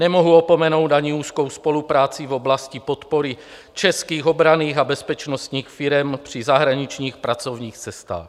Nemohu opomenout ani úzkou spolupráci v oblasti podpory českých obranných a bezpečnostních firem při zahraničních pracovních cestách.